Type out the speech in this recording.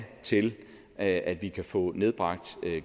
til at at vi kan få nedbragt